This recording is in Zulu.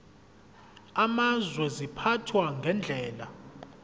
amazwe ziphathwa ngendlela